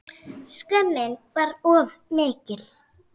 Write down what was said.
Skömmin var of mikil.